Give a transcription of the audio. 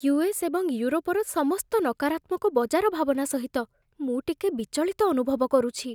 US. ଏବଂ ୟୁରୋପର ସମସ୍ତ ନକାରାତ୍ମକ ବଜାର ଭାବନା ସହିତ ମୁଁ ଟିକେ ବିଚଳିତ ଅନୁଭବ କରୁଛି